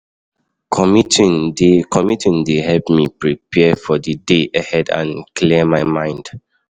Commuting dey Commuting dey help me prepare for the day ahead and clear my mind.